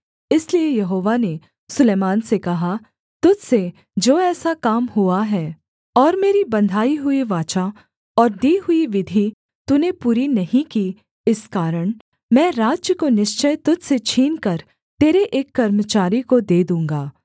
इसलिए यहोवा ने सुलैमान से कहा तुझ से जो ऐसा काम हुआ है और मेरी बँधाई हुई वाचा और दी हुई विधि तूने पूरी नहीं की इस कारण मैं राज्य को निश्चय तुझ से छीनकर तेरे एक कर्मचारी को दे दूँगा